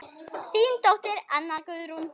Þín dóttir, Anna Guðrún.